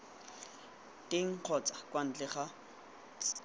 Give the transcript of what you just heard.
teng kgotsa kwa ntle ga